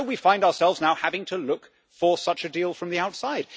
So we find ourselves now having to look for such a deal from the outside.